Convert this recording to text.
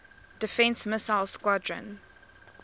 defense missile squadron